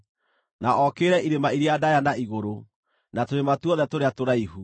na okĩrĩre irĩma iria ndaaya na igũrũ, na tũrĩma tuothe tũrĩa tũraihu.